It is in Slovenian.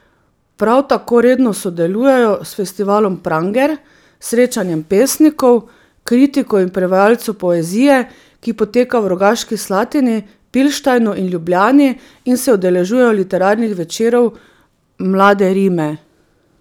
Prav tako redno sodelujejo s festivalom Pranger, srečanjem pesnikov, kritikov in prevajalcev poezije, ki poteka v Rogaški Slatini, Pilštajnu in Ljubljani, in se udeležujejo literarnih večerov Mlade rime.